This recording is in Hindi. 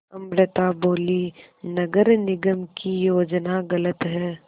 अमृता बोलीं नगर निगम की योजना गलत है